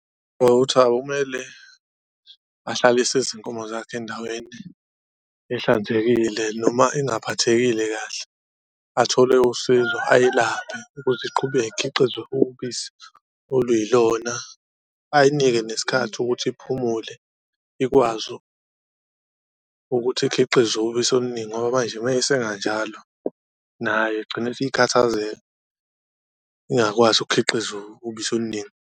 Awumele ahlalise izinkomo zakhe endaweni ehlanzekile noma engaphathekile kahle, athole usizo ayilaphe ukuze iqhubeke ikhiqize ubisi oluyilona, ayinike nesikhathi ukuthi uphumule ikwazi ukuthi ikhiqize ubisi oluningi ngoba manje mayeyisenga njalo nayo igcine isikhathazeka, ingakwazi ukukhiqiza ubisi oluningi.